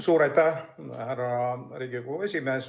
Suur aitäh, härra Riigikogu esimees!